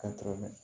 Ka tɛmɛ